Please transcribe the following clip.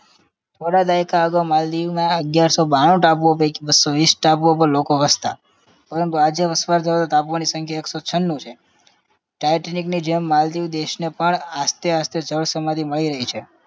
થોડા દાયકા અગાઉ માલદીવમાં અગિયારસો બાણું ટાપુઓ પૈકી બસ્સો વીસ ટાપુઓ પર લોકો વસતા પરંતુ આજે વસવાટ ધરાવતા ટાપુઓની સંખ્યા એક સો છન્નું છે. ટાઇટેનિકની જેમ માલદીવ દેશને પણ આસ્તે આસ્તે જળસમાધી મળી રહી છે